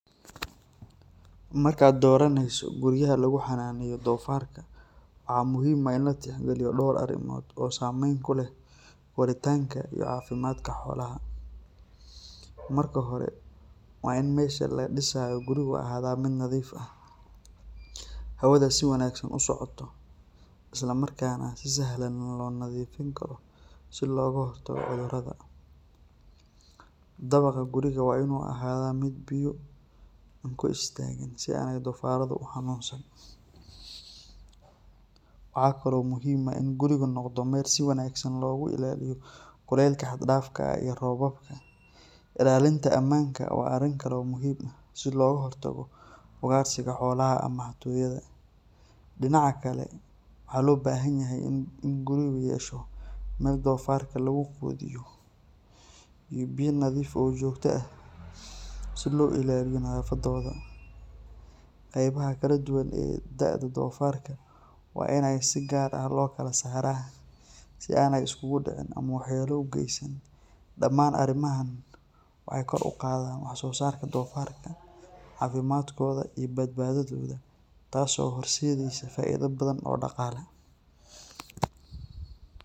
Markaad dooranayso guriyaha lagu xanaaneynayo doofaarka, waxaa muhiim ah in la tixgeliyo dhowr arrimood oo saameyn ku leh koritaanka iyo caafimaadka xoolaha. Marka hore, waa in meesha laga dhisayo gurigu ahaataa mid nadiif ah, hawada si wanaagsan u socoto, islamarkaana si sahlan loo nadiifin karo si looga hortago cudurrada. Dabaqa guriga waa in uu ahaadaa mid biyo aan ku istaagin, si aanay doofaarradu u xanuunsan. Waxa kale oo muhiim ah in gurigu noqdo meel si wanaagsan looga ilaaliyo kulaylka xad-dhaafka ah iyo roobabka. Ilaalinta ammaanka waa arrin kale oo muhiim ah, si looga hortago ugaarsiga xoolaha ama xatooyada. Dhinaca kale, waxaa loo baahanyahay in gurigu yeesho meel doofaarka lagu quudiyo iyo biyo nadiif ah oo joogto ah si loo ilaaliyo nafaqadooda. Qaybaha kala duwan ee da’da doofaarka waa in si gaar ah loo kala saaraa si aanay isugu dhicin ama waxyeello u geysan. Dhamaan arrimahan waxay kor u qaadaan waxsoosaarka doofaarka, caafimaadkooda iyo badbaadadooda, taas oo horseedaysa faa’iido badan oo dhaqaale.